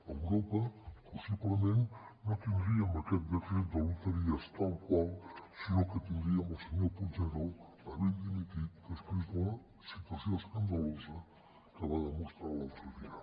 a europa possiblement no tindríem aquest decret de loteries tal qual sinó que tindríem el senyor puigneró havent dimitit després de la situació escandalosa que va demostrar l’altre dia